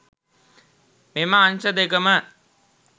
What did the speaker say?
මෙම අංශ දෙකම